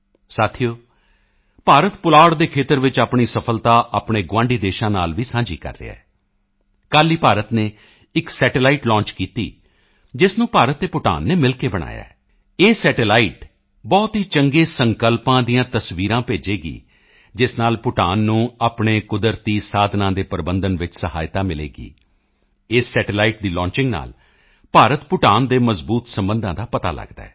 ਸਾਥੀਓ ਭਾਰਤ ਪੁਲਾੜ ਦੇ ਖੇਤਰ ਵਿੱਚ ਆਪਣੀ ਸਫ਼ਲਤਾ ਆਪਣੇ ਗੁਆਂਢੀ ਦੇਸ਼ਾਂ ਨਾਲ ਵੀ ਸਾਂਝੀ ਕਰ ਰਿਹਾ ਹੈ ਕੱਲ੍ਹ ਹੀ ਭਾਰਤ ਨੇ ਇੱਕ ਸੈਟੇਲਾਈਟ ਲਾਂਚ ਕੀਤੀ ਜਿਸ ਨੂੰ ਭਾਰਤ ਅਤੇ ਭੂਟਾਨ ਨੇ ਮਿਲ ਕੇ ਬਣਾਇਆ ਹੈ ਇਹ ਸੈਟੇਲਾਈਟ ਬਹੁਤ ਹੀ ਚੰਗੇ ਸੰਕਲਪਾਂ ਦੀਆਂ ਤਸਵੀਰਾਂ ਭੇਜੇਗੀ ਜਿਸ ਨਾਲ ਭੂਟਾਨ ਨੂੰ ਆਪਣੇ ਕੁਦਰਤੀ ਸਾਧਨਾਂ ਦੇ ਪ੍ਰਬੰਧਨ ਵਿੱਚ ਸਹਾਇਤਾ ਮਿਲੇਗੀ ਇਸ ਸੈਟੇਲਾਈਟ ਦੀ ਲਾਂਚਿੰਗ ਨਾਲ ਭਾਰਤਭੂਟਾਨ ਦੇ ਮਜ਼ਬੂਤ ਸਬੰਧਾਂ ਦਾ ਪਤਾ ਲਗਦਾ ਹੈ